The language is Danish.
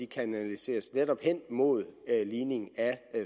kanaliseres hen imod ligning af